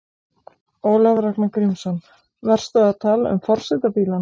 Ólafur Ragnar Grímsson: Varstu að tala um forsetabílana?